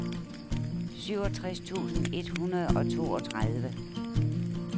syvogtres tusind et hundrede og toogtredive